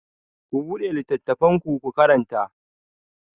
Ku buɗe littafinku, ku karanta!